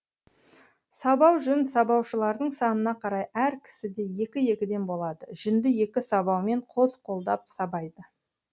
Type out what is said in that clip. сабау жүн сабаушылардың санына қарай әр кісіде екі екіден болады жүнді екі сабаумен қос қолдап сабайды